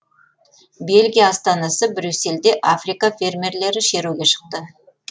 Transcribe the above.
бельгия астанасы брюссельде африка фермерлері шеруге шықты